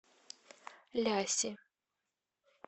ляси